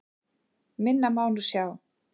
Minna má nú sjá.